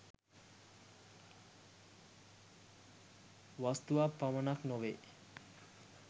වස්තුවක් පමණක් නොවේ